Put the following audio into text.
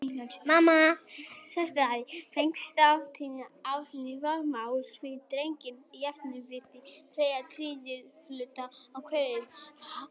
Fengust áttatíu álnir vaðmáls fyrir drenginn, jafnvirði tveggja þriðju hluta úr kýrverði.